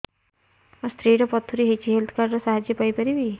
ମୋ ସ୍ତ୍ରୀ ର ପଥୁରୀ ହେଇଚି ହେଲ୍ଥ କାର୍ଡ ର ସାହାଯ୍ୟ ପାଇପାରିବି